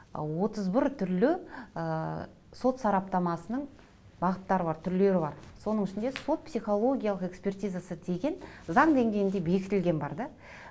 ы отыз бір түрлі ы сот сараптамасының бағыттары бар түрлері бар соның ішінде сот психологиялық экспертизасы деген заң деңгейінде бекітілген бар да